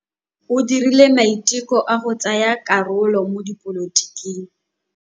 O dirile maitekô a go tsaya karolo mo dipolotiking.